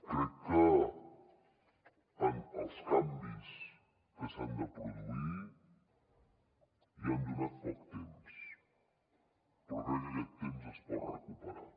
crec que als canvis que s’han de produir els hi han donat poc temps però crec que aquest temps es pot recuperar